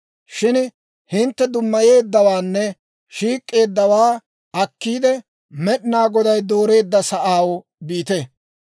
«Shin hintte dummayeeddawaanne shiik'k'eeddawaa akkiide, Med'inaa Goday dooreedda sa'aw biite.